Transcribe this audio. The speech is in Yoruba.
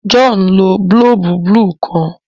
John nlò boolubu buluu kán